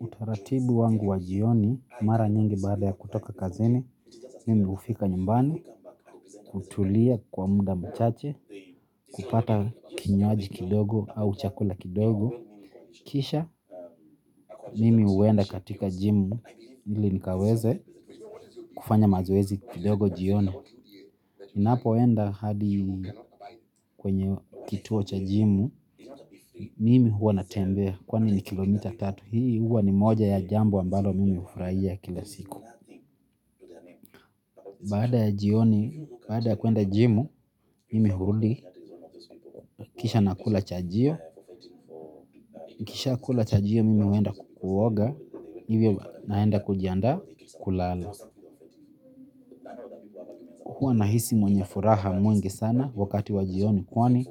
Utaratibu wangu wa jioni, mara nyingi baada ya kutoka kazini, mimi hufika nyumbani, hutulia kwa muda mchache, kupata kinywaji kidogo au chakula kidogo. Kisha mimi huenda katika gym ili nikaweze kufanya mazoezi kidogo jioni. Ninapoenda hadi kwenye kituo cha jimu mimi huwa natembea kwani ni kilomita tatu. Hii huwa ni moja ya jambo ambalo mimi hufurahia kila siku. Baada ya jioni, baada ya kuenda jimu, mimi hurudi, kisha nakula chajio, nikishakula chajio mimi huenda kuoga, hivyo naenda kujiandaa kulala. Huwa nahisi mwenye furaha mwingi sana wakati wa jioni kwani